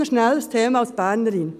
Noch schnell ein Thema als Bernerin: